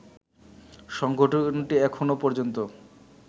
সংগঠনটি এখনো পর্যন্ত